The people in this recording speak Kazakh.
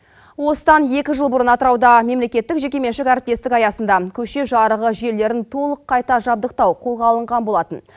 осыдан екі жыл бұрын атырауда мемлекеттік жеке меншік әріптестік аясында көше жарығы желілерін толық қайта жабдықтау қолға алынған болатын